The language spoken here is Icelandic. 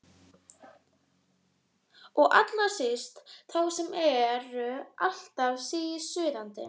Og allra síst þá sem eru alltaf sísuðandi.